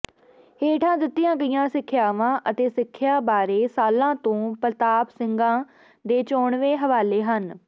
ਹੇਠਾਂ ਦਿੱਤੀਆਂ ਗਈਆਂ ਸਿੱਖਿਆਵਾਂ ਅਤੇ ਸਿੱਖਿਆ ਬਾਰੇ ਸਾਲਾਂ ਤੋਂ ਪ੍ਰਤਾਪ ਸਿੰਘਾਂ ਦੇ ਚੋਣਵੇਂ ਹਵਾਲੇ ਹਨ